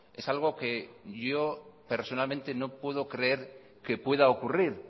es algo que yo personalmente no puedo creer que pueda ocurrir